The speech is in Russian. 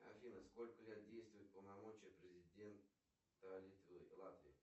афина сколько лет действует полномочия президента литвы латвии